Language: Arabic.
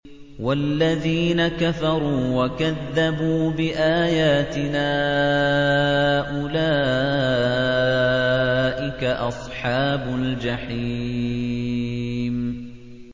وَالَّذِينَ كَفَرُوا وَكَذَّبُوا بِآيَاتِنَا أُولَٰئِكَ أَصْحَابُ الْجَحِيمِ